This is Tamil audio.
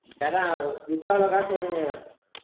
வித்தா எவ்வளவு காசு வரும்னு கேக்கறேன்